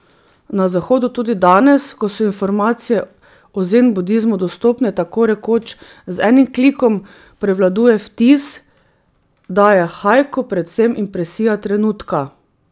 Na zahodu tudi danes, ko so informacije o zen budizmu dostopne tako rekoč z enim klikom, prevladuje vtis, da je haiku predvsem impresija trenutka.